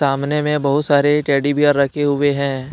सामने में बहुत सारे टेडी बीयर रखे हुए हैं।